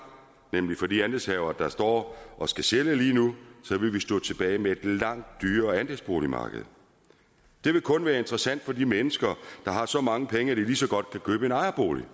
nemlig for de andelshavere der står og skal sælge lige nu så vil vi stå tilbage med et langt dyrere andelsboligmarked det vil kun være interessant for de mennesker der har så mange penge at de lige så godt kan købe en ejerbolig